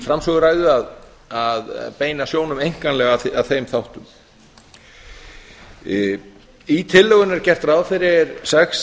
framsöguræðu að beina sjónum einkanlega að þeim þáttum í tillögunni er gert ráð fyrir sex